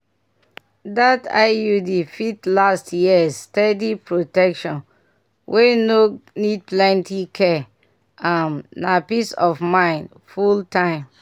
that iud fit last years steady protection wey no need plenty care. um na peace of mind full-time.